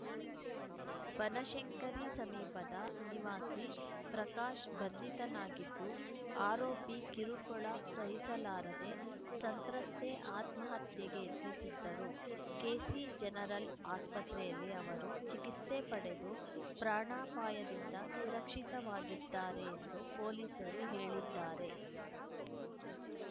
ಬನಶಂಕರಿ ಸಮೀಪದ ನಿವಾಸಿ ಪ್ರಕಾಶ್‌ ಬಂಧಿತನಾಗಿದ್ದು ಆರೋಪಿ ಕಿರುಕುಳ ಸಹಿಸಲಾರದೆ ಸಂತ್ರಸ್ತೆ ಆತ್ಮಹತ್ಯೆಗೆ ಯತ್ನಿಸಿದ್ದರು ಕೆಸಿಜನರಲ್‌ ಆಸ್ಪತ್ರೆಯಲ್ಲಿ ಅವರು ಚಿಕಿತ್ಸೆ ಪಡೆದು ಪ್ರಾಣಪಾಯದಿಂದ ಸುರಕ್ಷಿತವಾಗಿದ್ದಾರೆ ಎಂದು ಪೊಲೀಸರು ಹೇಳಿದ್ದಾರೆ